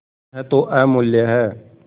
यह तो अमुल्य है